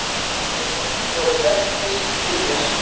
Augun voru dökkir hyljir.